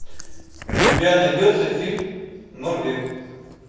у тебя найдется фильм норвег